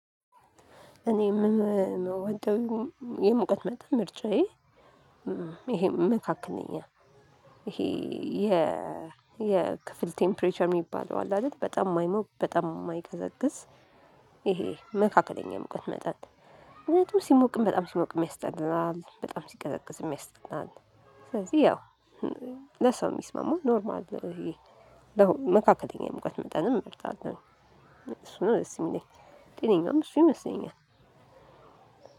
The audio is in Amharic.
እኔ የምወደው የሙቀት መጠን ምርጫዬ ይሄ መካከለኛ ይሄ የ የክፍል ቴምፕሬቸር የሚባለው አለ አደል በጣም የማይሞቅ በጣም የማይቀዘቅዝ ይሄ መካከለኛ የሙቀት መጠን። ምክንያቱም ሲሞቅም በጣም ሲሞቅም ያስጠላል በጣም ሲቀዘቅዝም ያስጠላል። ስለዚህ ያው ለሰው የሚስማማው ኖርማል ይሄ መካከለኛ የሙቀት መጠን መርጣለሁ። እሱ ነው ደስ የሚለኝ ጤነኛም እሱ ይመስለኛል።